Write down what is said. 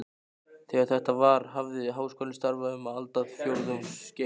Þegar þetta var, hafði Háskólinn starfað um aldarfjórðungs skeið.